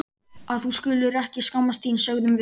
Að þú skulir ekki skammast þín, sögðum við.